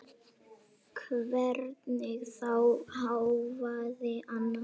Hvernig þá, hváði Anna.